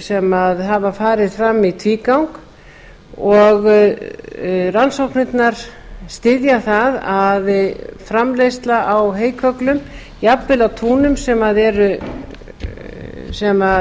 sem hafa farið fram í tvígang og rannsóknirnar styðja það að framleiðsla á heykögglum jafnvel á túnum sem